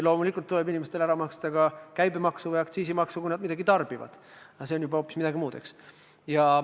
Loomulikult tuleb inimestel ära maksta ka käibemaks või aktsiisimaks, kui nad midagi tarbivad, aga see on juba hoopis midagi muud.